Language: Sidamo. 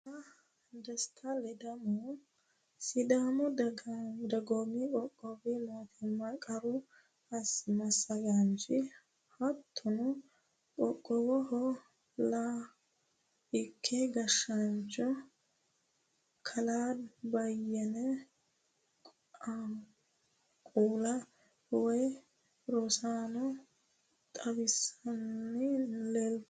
Kalaa desta ledamohu sidaamu dagoomi qoqqowi mootimma qaru massagaanchi hattono qoqqowoho la ki gashshaanchi kalaa beyyene qaauulle woyi rosaano towaattanni leeltanno.